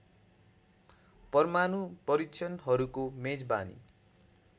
परमाणु परीक्षणहरूको मेजबानी